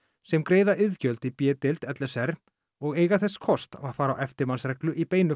sem greiða iðgjöld í b deild l s r og eiga þess kost að fara á eftirmannsreglu í beinu